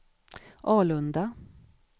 Alunda